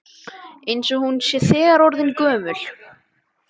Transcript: Eins og hún sé þegar orðin gömul.